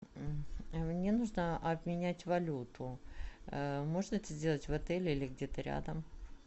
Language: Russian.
мне нужно обменять валюту можно это сделать в отеле или где то рядом